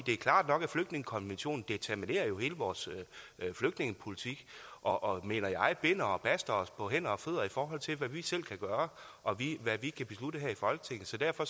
det er klart nok at flygtningekonventionen jo determinerer hele vores flygtningepolitik og mener jeg binder og baster os på hænder og fødder i forhold til hvad vi selv kan gøre og hvad vi kan beslutte her i folketinget så derfor